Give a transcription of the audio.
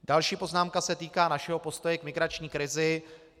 Další poznámka se týká našeho postoje k migrační krizi.